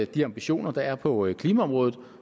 de ambitioner der er på klimaområdet